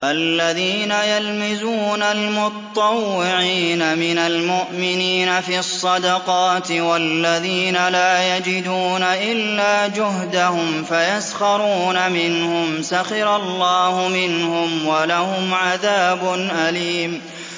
الَّذِينَ يَلْمِزُونَ الْمُطَّوِّعِينَ مِنَ الْمُؤْمِنِينَ فِي الصَّدَقَاتِ وَالَّذِينَ لَا يَجِدُونَ إِلَّا جُهْدَهُمْ فَيَسْخَرُونَ مِنْهُمْ ۙ سَخِرَ اللَّهُ مِنْهُمْ وَلَهُمْ عَذَابٌ أَلِيمٌ